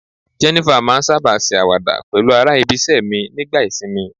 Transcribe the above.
Jenifer ma n saba ṣe awada pẹlu ara ibise mi nigba isinmi